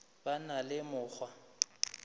be a na le mokgwa